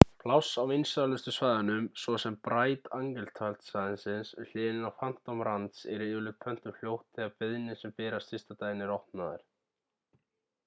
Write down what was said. pláss á vinsælustu svæðunum svo sem bright angel-tjaldsvæðið við hliðina á phantom ranch eru yfirleitt pöntuð fljótt þegar beiðnir sem berast fyrsta daginn eru opnaðar